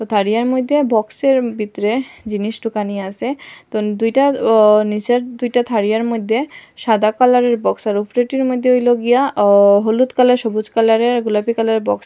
তারিয়ার মধ্যে বক্সের ভিতরে জিনিস ঢোকানি আসে তো দুইটা অ নিসের দুইটা তারিয়ার মধ্যে সাদা কালারের বক্সের ওপর পেটির মধ্যে হইল গিয়া আ হলুদ কালারের সবুজ কালারের গোলাপী কালারের বক্স --